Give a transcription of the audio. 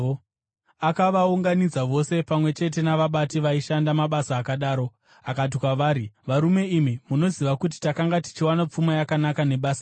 Akavaunganidza vose, pamwe chete navabati vaishanda mabasa akadaro, akati kwavari, “Varume, imi munoziva kuti takanga tichiwana pfuma yakanaka nebasa iri.